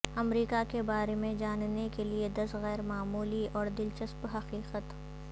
امریکہ کے بارے میں جاننے کے لئے دس غیر معمولی اور دلچسپ حقیقت